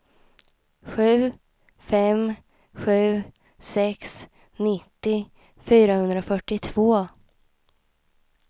sju fem sju sex nittio fyrahundrafyrtiotvå